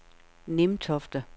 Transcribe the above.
Nimtofte